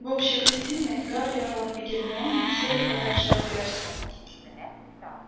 в общей гостиной гарри рон и гермиона сели подальше от перси